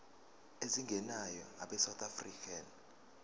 ezingenayo abesouth african